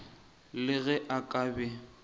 le ge a ka be